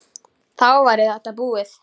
Þá væri þetta búið.